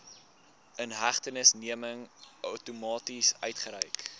inhegtenisneming outomaties uitgereik